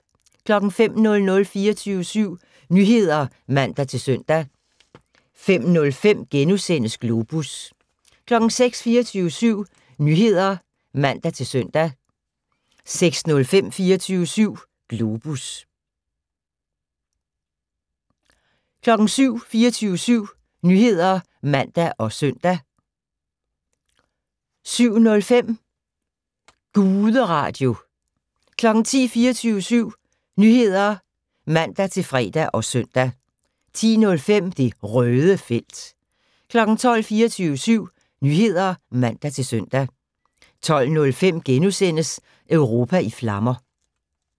05:00: 24syv Nyheder (man-søn) 05:05: Globus * 06:00: 24syv Nyheder (man-søn) 06:05: 24syv Globus 07:00: 24syv Nyheder (man og søn) 07:05: Guderadio 10:00: 24syv Nyheder (man-fre og søn) 10:05: Det Røde felt 12:00: 24syv Nyheder (man-søn) 12:05: Europa i flammer *